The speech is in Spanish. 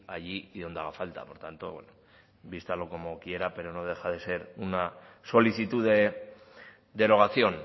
allí y donde haga falta por tanto vístalo como quiera pero no deja de ser una solicitud de derogación